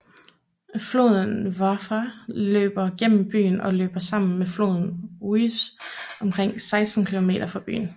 Floden Wharfe løber gennem byen og løber sammen med floden Ouse omkring 16 kilometer fra byen